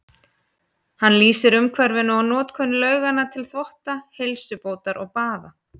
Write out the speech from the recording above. Hann lýsir umhverfinu og notkun lauganna til þvotta, heilsubótar og baða.